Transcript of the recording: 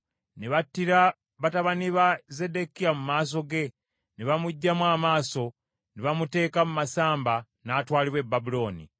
Ne battira batabani ba Zeddekiya mu maaso ge, ne bamuggyamu amaaso, ne bamuteeka mu masamba, n’atwalibwa e Babulooni.